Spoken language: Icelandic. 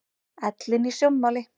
Ellin í sjónmáli.